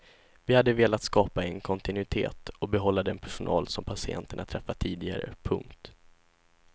Vi hade velat skapa en kontinuitet och behålla den personal som patienterna träffat tidigare. punkt